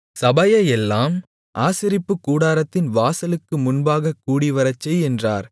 சபையையெல்லாம் ஆசரிப்புக்கூடாரத்தின் வாசலுக்கு முன்பாகக் கூடிவரச்செய் என்றார்